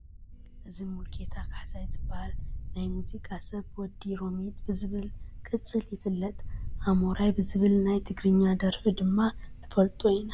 እዚ ሙሉጌታ ካሕሳይ ዝበሃል ናይ ሙዚቃ ሰብ ወዲ ሮሚጥ ብዝብል ቅፅል ይፍለጥ፡፡ ኣሞራይ ብዝብል ናይ ትግርኛ ደርፉ ድማ ንፈልጦ ኢና፡፡